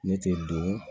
Ne tɛ don